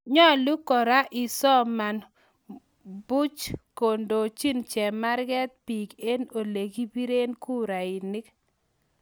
Nyalu kora isoman muuch kondochi chemarget biik eng olekipiree kurainik